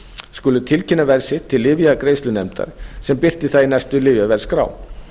skulu tilkynna verð sitt til lyfjagreiðslunefndar sem birtir það í næstu lyfjaverðskrá